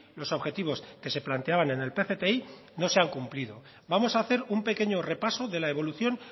los objetivos que se planteaban en el pcti no se han cumplido vamos a hacer un pequeño repaso de la evolución